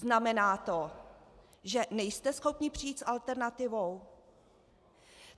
Znamená to, že nejste schopni přijít s alternativou?